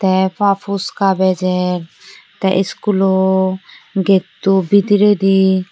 tey pa puchka bejer tey schoolo getto bidiredi.